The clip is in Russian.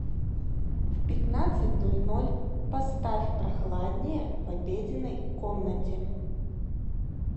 в пятнадцать ноль ноль поставь прохладнее в обеденной комнате